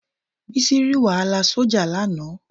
Bísí rí wàhálà sójà lánàá